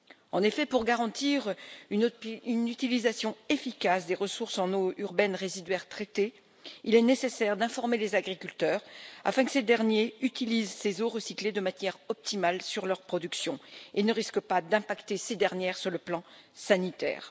En effet, pour garantir une utilisation efficace des ressources en eaux urbaines résiduaires traitées, il est nécessaire d'informer les agriculteurs afin que ces derniers utilisent ces eaux recyclées de manière optimale sur leurs productions et ne risquent pas d'impacter ces dernières sur le plan sanitaire.